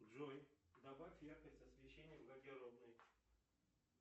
джой добавь яркость освещения в гардеробной